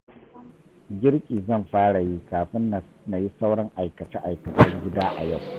Girki zan fara yi kafin na yi sauran aikace-aikacen gida a yau